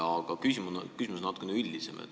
Aga küsimus on natuke üldisem.